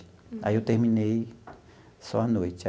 Aí, eu terminei só à noite.